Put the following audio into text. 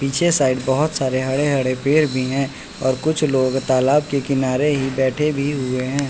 पीछे साइड बहोत सारे हरे हरे पेड़ भी हैं और कुछ लोग तालाब के किनारे ही बैठे भी हुए हैं।